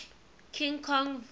king kong vs